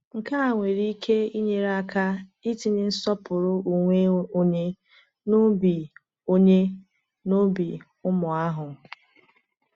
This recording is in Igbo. Nke a nwere ike inyere aka itinye nsọpụrụ onwe onye n’obi onye n’obi ụmụ ahụ.